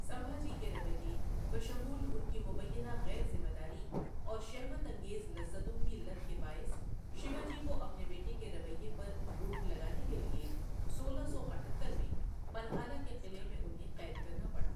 سمبھاجی کے رویے، بشمول ان کی مبینہ غیر ذمہ داری اور شہوت انگیز لذتوں کی لت کے باعث شیواجی کو اپنے بیٹے کے رویے پر روک لگانے کے لیے سولہ سو اٹھتر میں پنہالہ کے قلعے میں انہیں قید کرنا پڑا۔